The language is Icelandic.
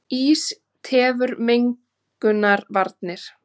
Ís tefur mengunarvarnir